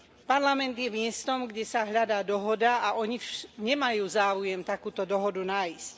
Parlament je miestom, kde sa hľadá dohoda, a oni nemajú záujem takúto dohodu nájsť.